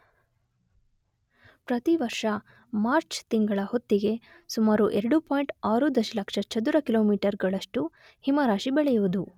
ಪ್ರತಿವರ್ಷ ಮಾರ್ಚ್ ತಿಂಗಳ ಹೊತ್ತಿಗೆ ಸುಮಾರು 2.6 ದಶಲಕ್ಷ ಚದುರ ಕಿಲೋಮೀಟರ್ ಗಳಷ್ಟು ಹಿಮರಾಶಿ ಬೆಳೆಯುವುದು